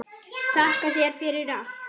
Þakka þér fyrir allt.